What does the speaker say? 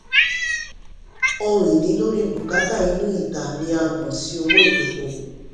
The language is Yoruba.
ohun-ìní lórí bùkátà inú ìta ni a mọ̀ sí owó ìdókòòwò.